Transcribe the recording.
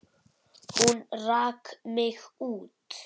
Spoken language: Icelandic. Hún rak mig út.